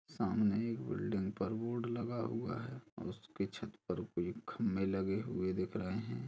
सामने एक बिल्डिंग पर बोर्ड लगा हुआ है और उसकी छत पर भी खंभे लगे हुए दिख रहे है।